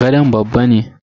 gadon babba ne.